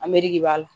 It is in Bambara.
A mugu de b'a la